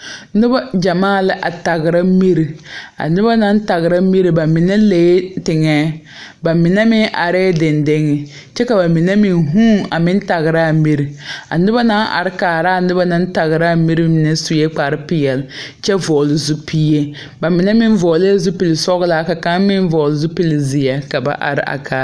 Nobɔ are la mane noɔreŋ biihee zuŋ baŋ zaa eŋ nuwoore kyɛ ka sagre gyɛŋ gyɛŋ a teŋɛŋ ka ba mine kyure a ti a sagre kyɛ ka sɔbulihi ba a teŋɛŋ.